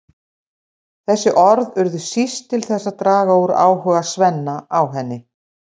Þessi orð urðu síst til þess að draga úr áhuga Svenna á henni.